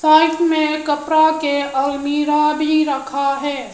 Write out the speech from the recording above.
और इसमे कपड़ा के अलमीरा भी रखा है।